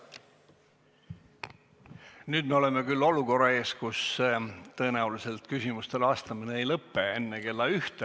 Nüüd me olukorras, kus tõenäoliselt küsimustele vastamine ei lõppe enne kella 1.